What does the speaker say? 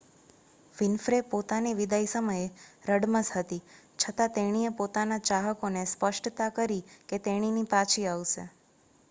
Winfrey પોતાની વિદાય સમયે રડમસ હતી છતાં તેણીએ પોતાના ચાહકો ને સ્પષ્ટતા કરી કે તેણીની પાછી આવશે